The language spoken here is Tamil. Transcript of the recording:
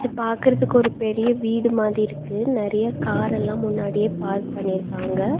பாக்குறதுக்கு ஒரு பெரிய வீடு மாதி இருக்கு. நறைய கார் எல்லா முன்னாடியே பார்க் பண்ணிருக்காங்க.